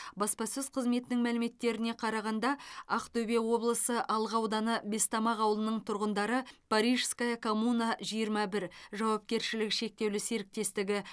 баспасөз қызметінің мәліметтеріне қарағанда ақтөбе облысы алға ауданы бестамақ ауылының тұрғындары парижская коммуна жиырма бір жуапкершілігі шектеулі серіктестігі